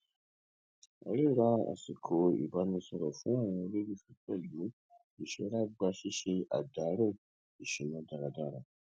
ríra àsìkò ìbánisọrọ fún àwọn olólùfẹ pẹlú ìṣọra gbà ṣíṣe àdàrò ìṣúná dáradára